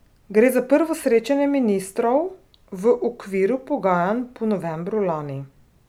Gre za prvo srečanje ministrov v okviru pogajanj po novembru lani.